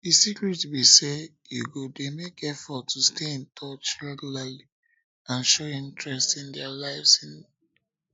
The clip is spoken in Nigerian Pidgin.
di secret be say you go dey make effort to stay in touch regularly and show interest in dia lives in dia lives